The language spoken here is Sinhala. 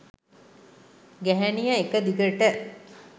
ගැහැණිය එක දිගට